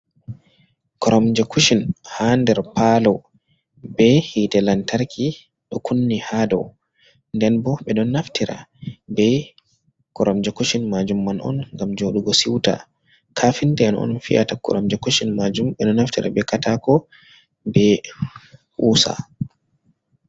koramje kushin ha nder palo, be hite lantarki do kunni ha dow, nden bo be don naftira be kuramje kushin majum man on gam jodugo siuta, kafinta en on fi’ata kuramje kushin majum, be don naftira be katako be kusa.